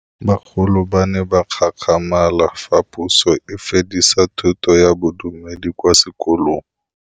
Bagolo ba ne ba gakgamala fa Pusô e fedisa thutô ya Bodumedi kwa dikolong.